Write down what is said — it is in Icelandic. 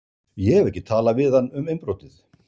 Ég hef ekki talað við hann um innbrotið.